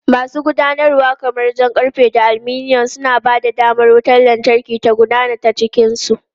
Masu gudanarwa kamar jan karfe da aluminum, suna ba da damar wutar lantarki ta gudana ta cikin su.